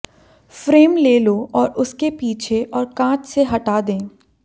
frame ले लो और उसके पीछे और कांच से हटा दें